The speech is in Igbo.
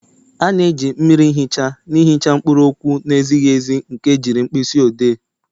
A na-eji mmiri ihicha na-ihicha mkpụrụ okwu na-ezighi ezi nke ejiri mkpịsị odee.